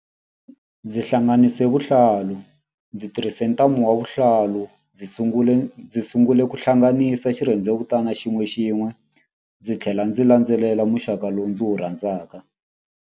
Ndzi hlanganise vuhlalu ndzi tirhise ntambu wa vuhlalu ndzi sungule ndzi sungule ku hlanganisa xirhendzevutana xin'wexin'we ndzi tlhela ndzi landzelela muxaka lowu ndzi wu rhandzaka.